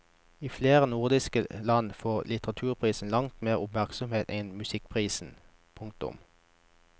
I flere nordiske land får litteraturprisen langt mer oppmerksomhet enn musikkprisen. punktum